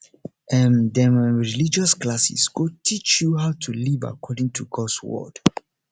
um dem um religious classes go teach you how to live according to gods word